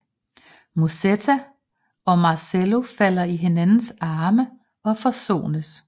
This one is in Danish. Musetta og Marcello falder i hinandens arme og forsones